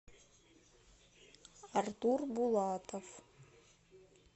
артур булатов